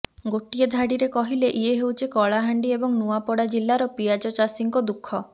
ଗୋଟିଏ ଧାଡିରେ କହିଲେ ଇଏ ହେଉଛି କଳାହାଣ୍ଡି ଏବଂ ନୂଆପଡା ଜିଲ୍ଲାର ପିଆଜ ଚାଷୀଙ୍କ ଦୁଃଖ